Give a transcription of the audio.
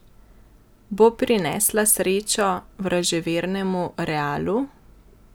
Bo prinesla srečo vraževernemu Realu?